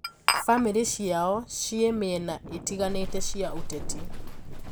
Famiri ciao cie miena itiganite cia uteti.